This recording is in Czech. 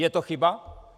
Je to chyba?